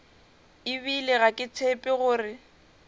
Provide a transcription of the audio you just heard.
ebile ga ke tshepe gore